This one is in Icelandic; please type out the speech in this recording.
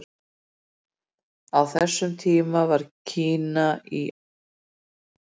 Á þessum tíma var Kína í alvarlegri upplausn.